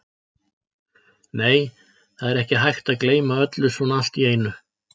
Nei, það er ekki hægt að gleyma öllu svona allt í einu.